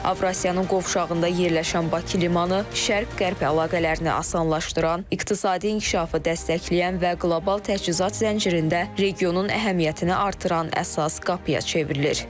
Avrasiyanın qovşağında yerləşən Bakı limanı şərq-qərb əlaqələrini asanlaşdıran, iqtisadi inkişafı dəstəkləyən və qlobal təchizat zəncirində regionun əhəmiyyətini artıran əsas qapıya çevrilir.